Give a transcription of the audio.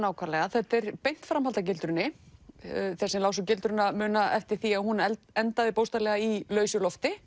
þetta er beint framhald af gildrunni þeir sem lásu gildruna muna eftir því að hún endaði bókstaflega í lausu lofti